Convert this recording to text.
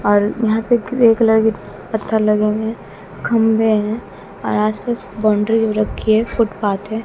और यहां पे ग्रे कलर के पत्थर लगे हुए हैं खंभे हैं और आस पास बाउंड्री हो रखी है फुटपाथ है।